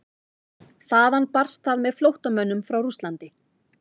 Þaðan barst það með flóttamönnum frá Rússlandi.